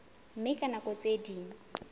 mme ka nako tse ding